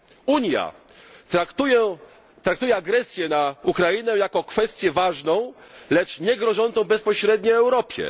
Unia traktuje agresję na Ukrainę jako kwestię ważną, lecz niegrożącą bezpośrednio Europie.